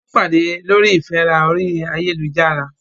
Wọ́n pàdé lórí ìfẹ́ra orí ayélujára.